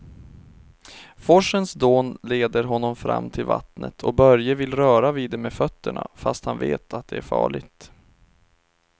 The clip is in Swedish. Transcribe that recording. Forsens dån leder honom fram till vattnet och Börje vill röra vid det med fötterna, fast han vet att det är farligt.